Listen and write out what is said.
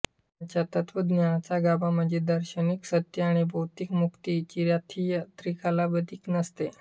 त्यांच्या तत्त्वज्ञानाचा गाभा म्हणजे दार्शनिक सत्य आणि भौतिक मुक्ती कधी चिरस्थायी त्रिकालाबाधित नसते